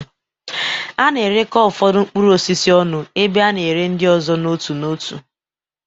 A na-erekọ ụfọdụ mkpụrụ osisi ọnụ, ebe a na-ere ndị ọzọ n'otu n'otu.